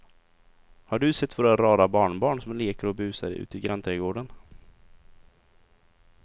Har du sett våra rara barnbarn som leker och busar ute i grannträdgården!